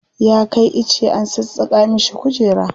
Ya kai ice an sassaƙa mishi kujera.